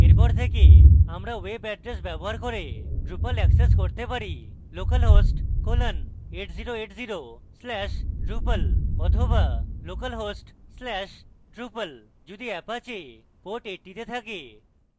এরপর থেকে আমরা web এড্রেস ব্যবহার করে drupal অ্যাক্সেস করতে পারি localhost colon 8080 slash drupal বা localhost slash drupal যদি apache পোর্ট 80 তে থাকে